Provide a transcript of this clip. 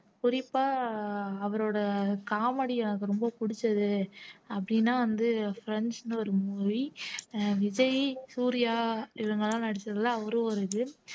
குறிப்பா அவரோட comedy எனக்கு ரொம்ப பிடிச்சது அப்படின்னா வந்து ப்ரண்ட்ஸ்ன்னு ஒரு movie அஹ் விஜய் சூர்யா இவங்க எல்லாம் நடிச்சதுல அவரும் ஒரு இது